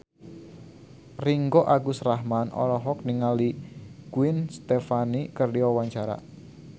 Ringgo Agus Rahman olohok ningali Gwen Stefani keur diwawancara